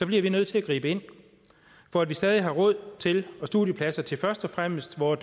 bliver vi nødt til at gribe ind for at vi stadig har råd til og studiepladser til først og fremmest vore